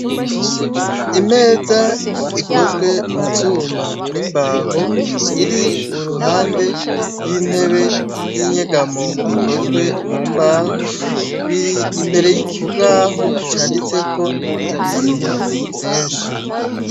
Imeza ikozwe mu vyuma nimbaho iri uruhande rwintebe yinyegamo ikozwe mu mbaho biri imbere yikibaho canditseko ibintu vyinshi .